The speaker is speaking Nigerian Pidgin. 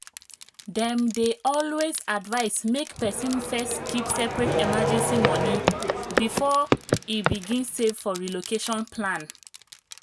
dem dey always advise make person first keep separate emergency money before e begin save for relocation plan.